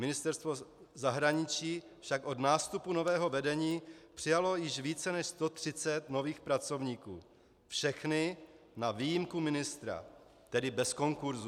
Ministerstvo zahraničí však od nástupu nového vedení přijalo již více než 130 nových pracovníků, všechny na výjimku ministra, tedy bez konkurzu.